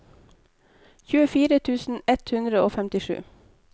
tjuefire tusen ett hundre og femtisju